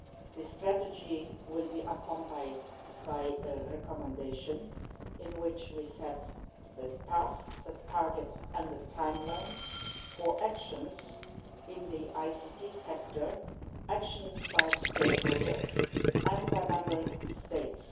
This strategy will be accompanied by a recommendation in which we set the tasks, the targets and the timeline for actions in the ICT sector, actions by stakeholders and by Member States.